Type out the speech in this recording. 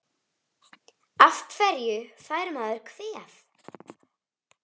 Af hverju fær maður kvef?